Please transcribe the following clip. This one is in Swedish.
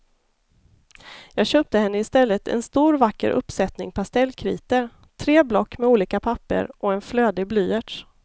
Jag köpte henne i stället en stor vacker uppsättning pastellkritor, tre block med olika papper och en flödig blyerts.